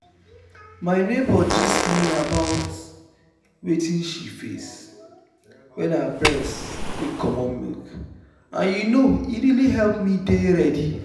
my neighbor gist me about wetin she face wen her breast dey comot milk and you know e really help me dey ready.